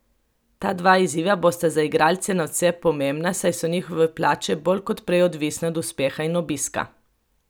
Ta dva izziva bosta za igralce nadvse pomembna, saj so njihove plače bolj kot prej odvisne od uspeha in obiska.